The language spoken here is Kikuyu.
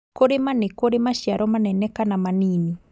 Kũrĩma nĩkũrĩ maciaro manene kana manini